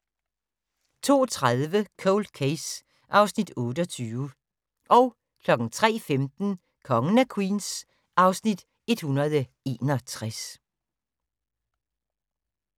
02:30: Cold Case (Afs. 28) 03:15: Kongen af Queens (Afs. 161)